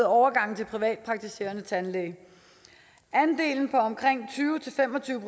overgangen til privatpraktiserende tandlæge andelen på omkring tyve til fem og tyve